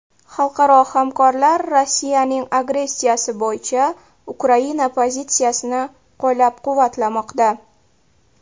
Xalqaro hamkorlar Rossiyaning agressiyasi bo‘yicha Ukraina pozitsiyasini qo‘llab-quvvatlamoqda.